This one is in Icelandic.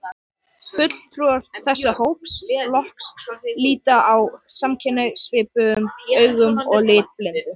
Fulltrúar þessa flokks líta á samkynhneigð svipuðum augum og litblindu.